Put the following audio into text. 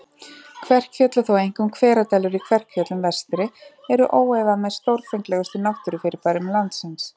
Kverkfjöll, og þó einkum Hveradalur í Kverkfjöllum vestri, eru óefað með stórfenglegustu náttúrufyrirbærum landsins.